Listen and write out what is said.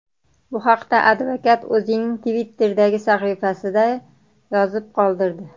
Bu haqda advokat o‘zining Twitter’dagi sahifasida yozib qoldirdi .